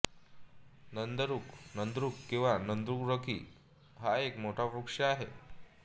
नांदरुख नांद्रुक किंवा नांदुरकी हा एक मोठा वृक्ष आहे